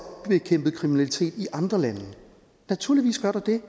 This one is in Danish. bekæmpet kriminalitet i andre lande naturligvis gør der det